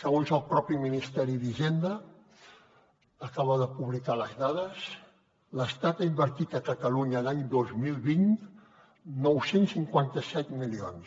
segons el mateix ministeri d’hisenda acaba de publicar les dades l’estat ha invertit a catalunya l’any dos mil vint nou cents i cinquanta set milions